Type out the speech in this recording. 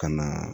Ka na